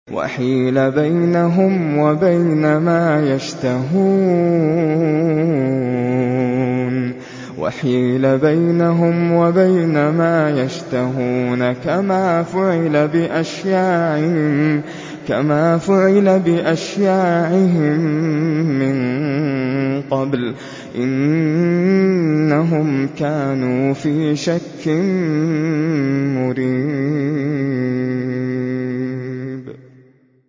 وَحِيلَ بَيْنَهُمْ وَبَيْنَ مَا يَشْتَهُونَ كَمَا فُعِلَ بِأَشْيَاعِهِم مِّن قَبْلُ ۚ إِنَّهُمْ كَانُوا فِي شَكٍّ مُّرِيبٍ